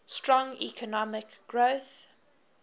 strong economic growth